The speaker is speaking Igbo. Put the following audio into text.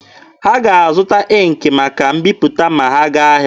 Ha ga-azụta ịnkị maka mbiputa ma ha gaa ahịa.